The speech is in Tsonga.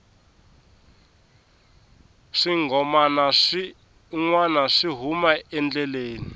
swinghomana swi nwana swi hume endleleni